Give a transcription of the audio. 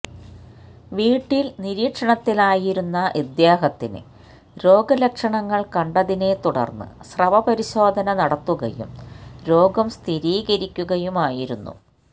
വീട്ടില് നിരീക്ഷണത്തിലായിരുന്ന ഇദ്ദേഹത്തിന് രോഗലക്ഷണങ്ങള് കണ്ടതിനെ തുടര്ന്ന് സ്രവപരിശോധന നടത്തുകയും രോഗം സ്ഥിരീകരിക്കുകയുമായിരുന്നു